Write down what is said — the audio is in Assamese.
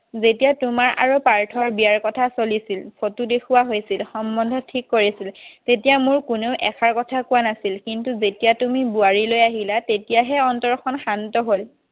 যেতিয়া তোমাৰ আৰু পাৰ্থৰ বিয়াৰ কথা চলিছিল ফটো দেখুওৱা হৈছিল ঠিক কৰিছিল তেতিয়া মোক কোনেও এষাৰ কথা কোৱা নাছিল কিন্তু তেতিয়া তুমি বোৱাৰী লৈ আহিলা তেতিয়াহে অন্তৰ খন শান্ত হ'ল